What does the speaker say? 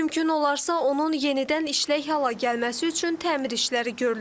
Mümkün olarsa, onun yenidən işlək hala gəlməsi üçün təmir işləri görülür.